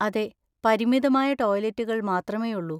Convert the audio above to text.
അതെ, പരിമിതമായ ടോയ്‌ലറ്റുകൾ മാത്രമേയുള്ളൂ.